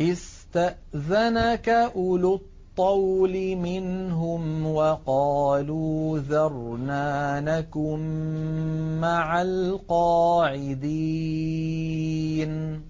اسْتَأْذَنَكَ أُولُو الطَّوْلِ مِنْهُمْ وَقَالُوا ذَرْنَا نَكُن مَّعَ الْقَاعِدِينَ